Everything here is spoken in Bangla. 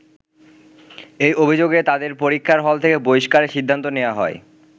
এ অভিযোগে তাদের পরীক্ষার হল থেকে বহিষ্কারের সিদ্ধান্ত নেয়া হয়।